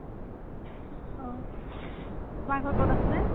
অ তোমাৰ ঘৰ কত আছিলে?